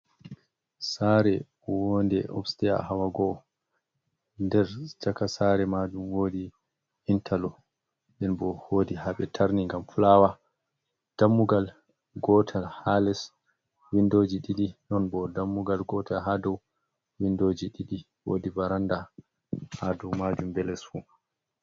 Sare wonde obstair hawa go'o nder chaka sare majum wodi intallo nɗen bo wodi ha ɓe tarni ngam flawa dammugal gotal ha les windoji ɗiɗi non bo dammugal gotal ha dou windoji ɗiɗi wodi varanda ha dou majum ɓe les fu.